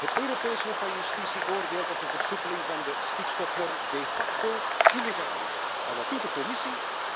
Het Europees Hof van Justitie oordeelt dat de versoepeling van de stikstofnorm de facto illegaal is, en wat doet de Commissie?